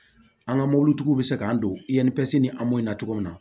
An ka mobilitigiw bɛ se k'an don ni in na cogo min na